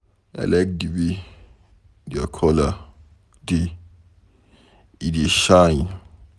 I like the way their colour dey. E dey shine.